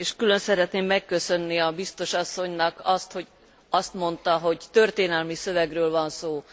Külön szeretném megköszönni a Biztos asszonynak azt, hogy azt mondta, hogy történelmi szövegről van szó.